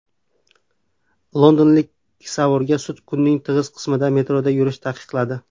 Londonlik kisavurga sud kunning tig‘iz qismida metroda yurishni taqiqladi.